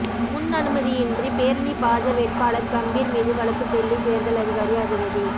முன் அனுமதியின்றி பேரணி பாஜ வேட்பாளர் கம்பீர் மீது வழக்கு டெல்லி தேர்தல் அதிகாரி அதிரடி